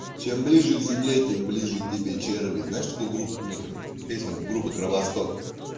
чем ближе к земле тем ближе к тебе черви знаешь такую группу песню ну там песню группы кровосток